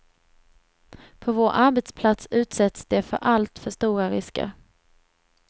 På vår arbetsplats utsätts de för alltför stora risker.